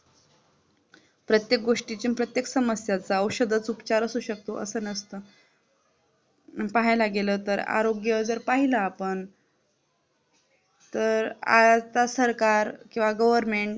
प्रत्येक गोष्टीच आणि प्रत्येक समस्याच औषधच उपचार असू शकत अस नसत पाहायला गेलं तर आरोग्य जर पाहिलं आपण तर आजचा सरकार किंवा Goverment